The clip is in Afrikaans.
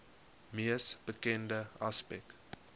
mees bekende aspek